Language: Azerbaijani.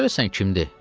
Görəsən kimdir?